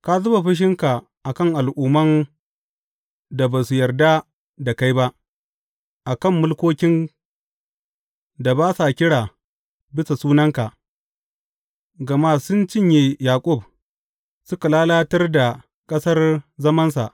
Ka zuba fushinka a kan al’umman da ba su yarda da kai ba, a kan mulkokin da ba sa kira bisa sunanka; gama sun cinye Yaƙub suka lalatar da ƙasar zamansa.